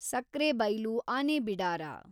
Sakrebailu ಆನೆಬಿಡಾರ